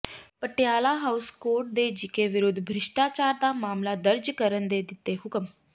Patiala house court ਨੇ GK ਵਿਰੁੱਧ ਭ੍ਰਿਸ਼ਟਾਚਾਰ ਦਾ ਮਾਮਲਾ ਦਰਜ ਕਰਨ ਦੇ ਦਿੱਤੇ ਹੁਕਮ